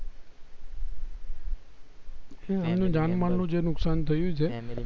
એની જન માલ નું જે નુકશાન થયું છે